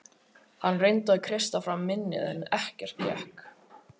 Hann reyndi að kreista fram minnið en ekkert gekk.